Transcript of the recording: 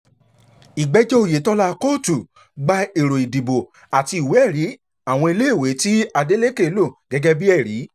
ìgbẹ́jọ́ oyetola kóòtù gba èrò ìdìbò àti ìwé-ẹ̀rí àwọn iléèwé tí adeleke lò gẹ́gẹ́ bíi ẹ̀rí